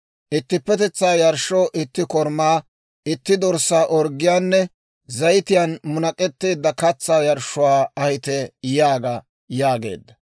Ittippetetsaa yarshshoo itti korumaa, itti dorssaa orggiyaanne zayitiyaan munak'etteedda katsaa yarshshuwaa ahite yaaga› » yaageedda.